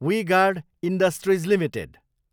we Guard Industries limited